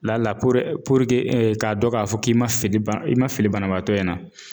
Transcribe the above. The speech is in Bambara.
Lala k'a dɔ k'a fɔ k'i ma fili ba i ma fili banabaatɔ in na.